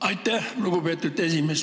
Aitäh, lugupeetud esimees!